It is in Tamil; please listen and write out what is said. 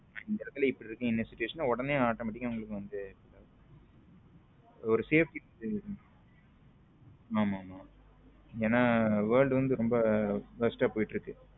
இந்த இடத்துல இப்படி இருக்கு situation உடன automatic ஆ உங்களுக்கு வந்த ஒரு safety கி ஆமாமா ஏன்னா world வந்து ரொம்ப worst ஆ போயிட்டு இருக்கு.